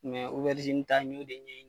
Mɛ obɛrizini yɛrɛ ta n y'o de ɲɛ ɲini.